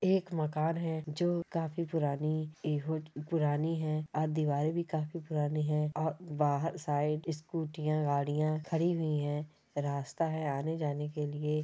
एक मकान है जो काफी पुरानी पुरानी है और दीवारें भी काफी पुरानी है और बाहर साइड स्कूटियाँ गाड़ियां खड़ी हुई है रास्ता है आने जाने के लिए--